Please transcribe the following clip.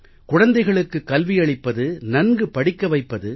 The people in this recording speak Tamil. குழந்தைகளுக்கு கல்வியளிப்பது நன்கு படிக்க வைப்பது